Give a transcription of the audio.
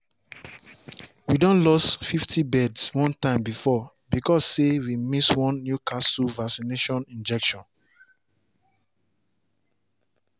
we don lost fifty birds one time before because say way miss one newcastle vaccine injection.